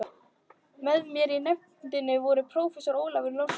Með mér í nefndinni voru prófessorarnir Ólafur Lárusson